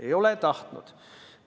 Ei ole tahtnud.